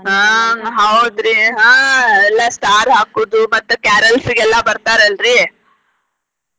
ಆಹ್ ಹೌದ್ರಿ ಆಹ್ ಎಲ್ಲ star ಹಾಕುದು ಮತ್ತ carrels ಗೆಲ್ಲಾ ಬರ್ತಾರ ಅಲ್ರಿ.